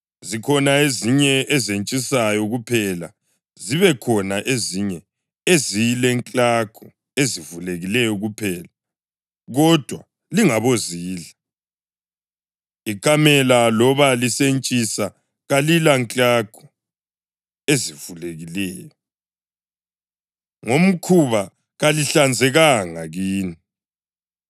Zikhona ezinye ezentshisayo kuphela, zibe khona ezinye ezilenklagu ezivulekileyo kuphela kodwa lingabozidla. Ikamela loba lisentshisa kalilanklagu ezivulekileyo; ngomkhuba kalihlanzekanga kini.